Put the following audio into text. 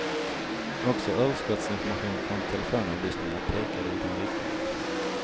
Också överskottsinformation från telefonavlyssningar pekade i den riktningen.